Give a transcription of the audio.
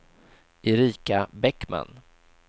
Erika Bäckman